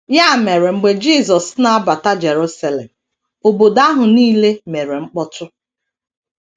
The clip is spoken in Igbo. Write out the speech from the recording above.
Ya mere mgbe Jisọs na - abata Jerusalem, obodo ahụ nile mere mkpọtụ.